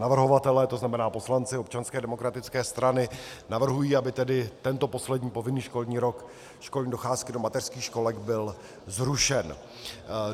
Navrhovatelé, to znamená poslanci Občanské demokratické strany, navrhují, aby tedy tento poslední povinný školní rok školní docházky do mateřských školek byl zrušen.